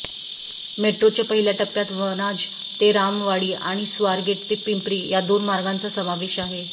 मेट्रोच्या पहिल्या टप्प्यात वनाज ते रामवाडी आणि स्वारगेट ते पिंपरी या दोन मार्गांचा समावेश आहे